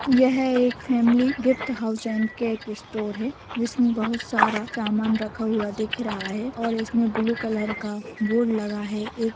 यह एक family gift house and cake store है जिसमें बहुत सार समान रखा हुआ दिख रहा है और उसमें ब्लू कलर का बोर्ड लगा है एक--